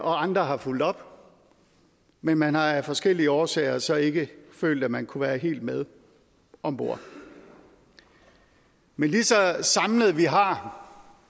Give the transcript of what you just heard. og andre har fulgt op men man har af forskellige årsager så ikke følt at man kunne være helt med om bord men ligeså samlede vi har